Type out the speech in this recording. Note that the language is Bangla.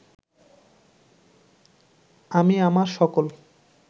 আমি আমার সকল